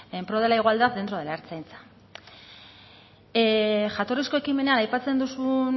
en pro de la igualdad dentro de la ertzaintza jatorrizko ekimenean aipatzen duzun